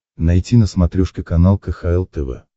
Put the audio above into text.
найти на смотрешке канал кхл тв